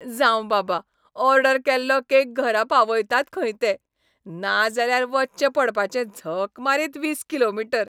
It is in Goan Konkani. जावं बाबा, ऑर्डर केल्लो केक घरा पावयतात खंय ते. नाजाल्यार वच्चें पडपाचें झक मारीत वीस किलोमीटर.